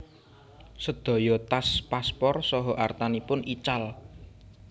Sedaya tas paspor saha artanipun ical